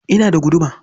Ina da guduma.